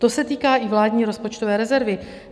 To se týká i vládní rozpočtové rezervy.